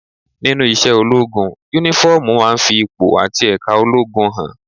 Nínú iṣẹ́ ológun, Únífọ́ọ̀mù máa ń fi ipò àti ẹ̀ka ológun hàn